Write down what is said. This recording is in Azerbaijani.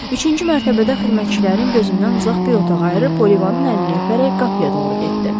Üçüncü mərtəbədə xidmətçilərin gözündən uzaq bir otaq ayırıb Olivanın əlini öpərək qapıya doğru getdi.